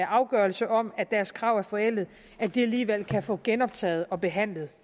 afgørelse om at deres krav er forældet alligevel kan få genoptaget og behandlet